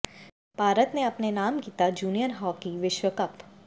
ਭਾਰਤ ਨੇ ਅਪਣੇ ਨਾਮ ਕੀਤਾ ਜੂਨੀਅਰ ਹਾਕੀ ਵਿਸ਼ਵ ਕੱਪ